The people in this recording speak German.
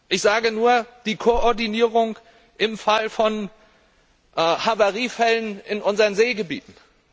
Ich nenne nur die Koordinierung im Fall von Havariefällen in unseren Seegebieten.